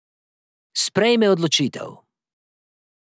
Sprejme odločitev.